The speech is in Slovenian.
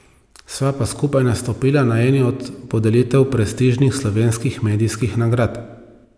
Sva pa skupaj nastopila na eni od podelitev prestižnih slovenskih medijskih nagrad.